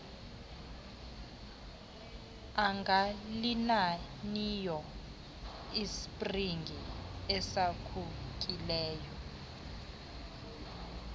angalinaniyo isipringi esaphukileyo